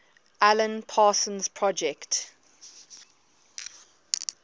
alan parsons project